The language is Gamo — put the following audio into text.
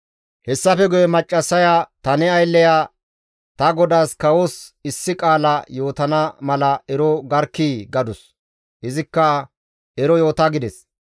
Hessafe guye maccassaya, «Ta ne aylleya ta godaas kawos issi qaala yootana mala ero garkkii!» gadus; izikka, «Ero yoota» gides.